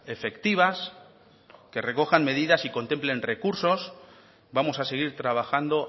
efectivas que recojan medidas y contemplen recursos vamos a seguir trabajando